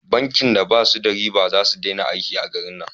Bankin da ba su karban riba za su dena aiki a garin nan